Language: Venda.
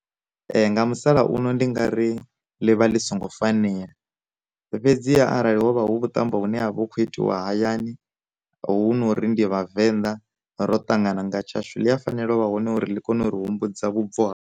Nga musalauno ndi nga ri ḽivha ḽi songo fanela, fhedziha arali hovha hu vhutambo hune ha vha hu khou itiwa hayani hunori ndi vhavenḓa ro tangana nga tshashu, ḽi a fanela u vha hone uri ḽi kone uri humbudza vhubvo ha.